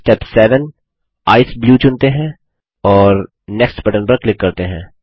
step 7 ECE blue चुनते हैं और नेक्स्ट बटन पर क्लिक करते हैं